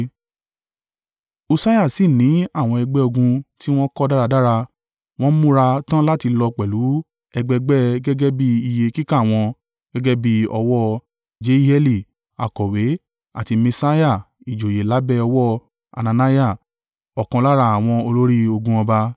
Ussiah sì ní àwọn ẹgbẹ́ ogun tí wọ́n kọ́ dáradára, wọ́n múra tán láti lọ pẹ̀lú ẹgbẹgbẹ́ gẹ́gẹ́ bí iye kíkà wọn gẹ́gẹ́ bí ọwọ́ Jeieli akọ̀wé àti Maaseiah ìjòyè lábẹ́ ọwọ́ Hananiah, ọ̀kan lára àwọn olórí ogun ọba.